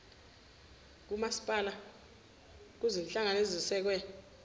kukamasipalati kuzinhlangano zesekwe